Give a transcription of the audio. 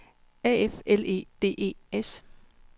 A F L E D E S